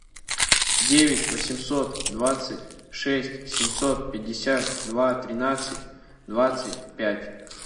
девять восемьсот двадцать шесть семьсот пятьдесят два тринадцать двадцать пять